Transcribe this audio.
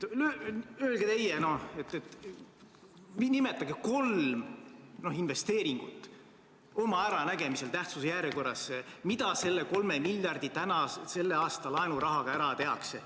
Öelge teie, nimetage kolm investeeringut oma äranägemisel tähtsuse järjekorras, mida selle 3 miljardiga, selle aasta laenurahaga ära tehakse.